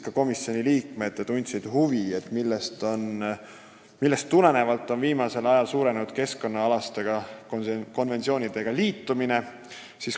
Ka komisjoni liikmed tundsid huvi, millest tulenevalt on viimasel ajal sagenenud keskkonnaalaste konventsioonidega liitumine.